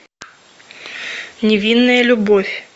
невинная любовь